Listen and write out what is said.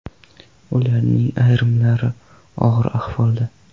Ularning ayrimlari og‘ir ahvolda.